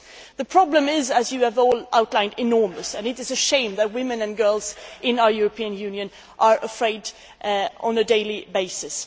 The problem is, as you have all outlined, enormous, and it is a shame that women and girls in our European Union are afraid on a daily basis.